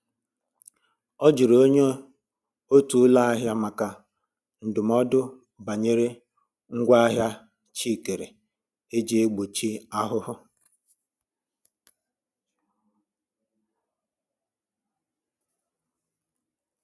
Ọ jụrụ ónyé otu ụlọ ahịa maka ndụmọdụ banyere ngwa ahịa chi kèrè eji egbochi ahụhụ